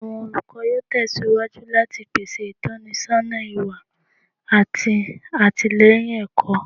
Awọn olukọ yoo tẹsiwaju lati pese itọnisọna iwa ati atilẹyin ẹkọ